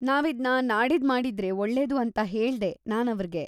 ನಾವಿದ್ನ ನಾಡಿದ್ದ್‌ ಮಾಡಿದ್ರೆ ಒಳ್ಳೇದು ಅಂತ ಹೇಳ್ದೆ ನಾನ್‌ ಅವ್ರಿಗೆ.